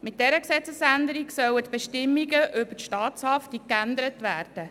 Mit dieser Gesetzesänderung sollen die Bestimmungen über die Staatshaftung geändert werden.